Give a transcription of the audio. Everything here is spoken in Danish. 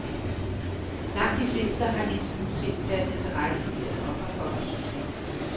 Langt de fleste har indtil nu set deres interesse i at opretholde systemet.